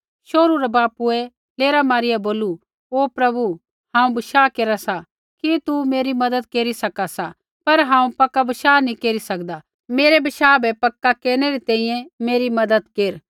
शोहरू रै बापूऐ लेरा मारिया बोलू ओ प्रभु हांऊँ बशाह केरा सा कि तू मेरी मज़त केरी सका सा पर हांऊँ पक्का बशाह नी केरी सकदा मेरै बशाह बै पक्का केरनै री तैंईंयैं मेरी मज़त केरा